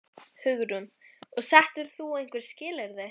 Hugrún: Og settir þú einhver skilyrði?